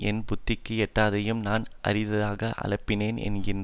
என் புத்திக்கு எட்டாததையும் நான் அறியாததையும் அலப்பினேன் என்கிறேன்